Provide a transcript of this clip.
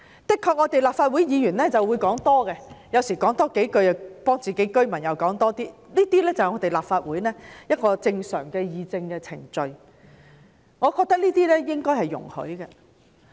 的確，立法會議員有時候會說多了，或者為自己的選民多說幾句，這是立法會正常的議政程序，我認為應該容許。